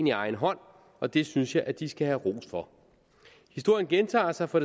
i egen hånd og det synes jeg de skal have ros for historien gentager sig for